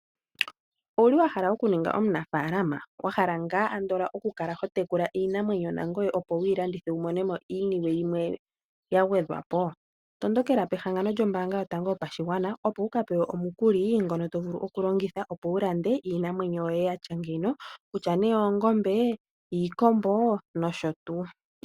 Owuli wa hala oku ninga omuna faalama? Wa hala ngaa andola oku kala ho tekula iinamwenyo na ngoye opo wu yi landithe wu monome iinima yimwe ya gwe dhwapo? Tondokela pehangano lyo mbaanga yo tango yo pashigwana, opo wu ka pewe omukuli ngono to vulu oku longitha opo wu lande iinamwenyo yoye yatya nge, kutya nee oongombe, iikombo nosho tuu.